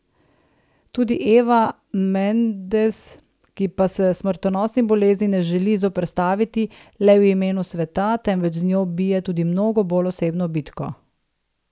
Tudi Eva Mendes, ki pa se smrtonosni bolezni ne želi zoperstaviti le v imenu sveta, temveč z njo bije tudi mnogo bolj osebno bitko.